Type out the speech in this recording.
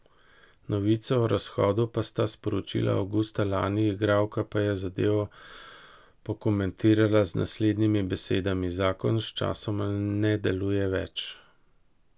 Novico o razhodu pa sta sporočila avgusta lani, igralka pa je zadevo pokomentirala z naslednjimi besedami:'Zakon sčasoma ne deluje več.